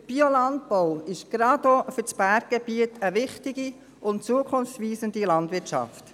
Der Biolandbau ist gerade auch für das Berggebiet eine wichtige und zukunftsweisende Form der Landwirtschaft.